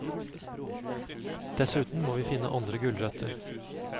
Dessuten må vi finne andre gulrøtter.